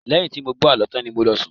Lẹ́yìn tí mo gbọ́ àlọ́ tán ni mo lọ sùn